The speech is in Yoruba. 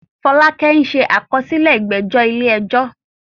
Fọlákẹ́ ṣe àkọsílẹ̀ ìgbẹ́jọ́ ilé ẹjọ́